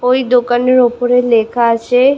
ওই দোকানের ওপরে লেখা আছে--